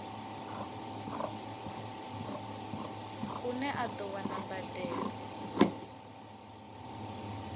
une a do wana mbadelo